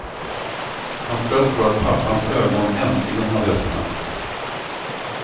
Hans tröst var att pappans ögon äntligen hade öppnats.